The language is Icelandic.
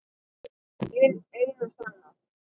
Hin eina sanna